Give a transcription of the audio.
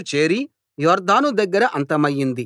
చేరి యొర్దాను దగ్గర అంతమయింది